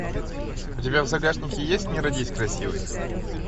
у тебя в загашнике есть не родись красивой